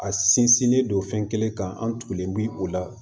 A sinsinnen don fɛn kelen kan an tugulen bi o la